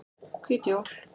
Hvít jól